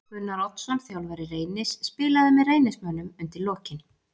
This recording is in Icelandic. Gunnar Oddsson þjálfari Reynis spilaði með Reynismönnum undir lokin.